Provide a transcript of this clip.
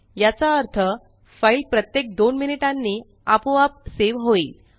याचा अर्थ फ़ाइल प्रत्येक दोन मिनिटांनी आपोआप सेव होईल